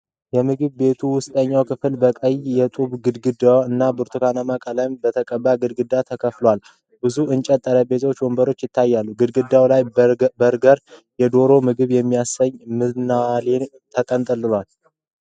የምግብ ቤቱ ውስጠኛ ክፍል በቀይ የጡብ ግድግዳ እና ብርቱካናማ ቀለም በተቀባ ግድግዳ ተከፍሏል። ብዙ የእንጨት ጠረጴዛዎችና ወንበሮች ይታያሉ። ግድግዳው ላይ በርገርና የዶሮ ምግቦችን የሚያሳዩ ምናሌዎች ተንጠልጥለዋል።